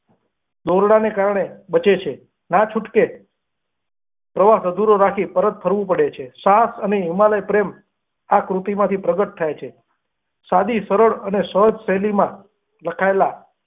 દોરડા ના કારણે બચે છે ના છૂટકે પ્રવાસ અધૂરો રાખી પરત ફરવું પડે છે સાહસ અને હિમાલય પ્રેમ આ કૃતિ માંથી પ્રગટ થાય છે સાડી સરળ અને શેલી માં લખાયેલા.